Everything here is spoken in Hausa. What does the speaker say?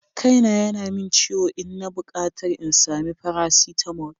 Kaina yana min ciwo, ina bukatar in sami faracetamol.